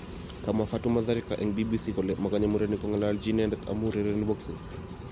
Kamwa Fatuma Zarika eng BBC kole mokonye murenik kong'ololji inendet amu urereni boxing